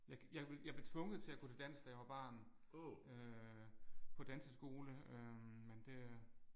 Jeg jeg jeg blev tvunget til at gå til dans da jeg var barn. Øh på danseskole øh men det